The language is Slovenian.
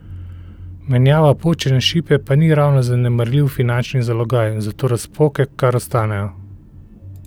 Menjava počene šipe pa ni ravno zanemarljiv finančni zalogaj, zato razpoke kar ostanejo.